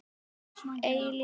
Eilífa kyrrð.